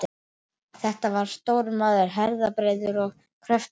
Þetta var stór maður, herðabreiður með kröftug